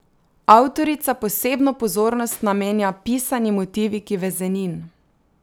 Avtorica posebno pozornost namenja pisani motiviki vezenin.